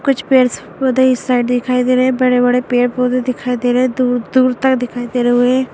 कुछ पेड़्स पौधे इस साइड दिखाई दे रहे हैं बड़े-बड़े पेड़-पौधे दिखाई दे रहे हैं दूर-दूर तक दिखाई दे रहे हुए हैं।